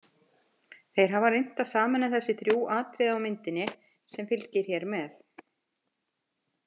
Þeir hafa reynt að sameina þessi þrjú atriði á myndinni, sem fylgir hér með.